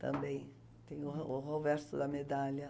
Também tem o o roverso da medalha.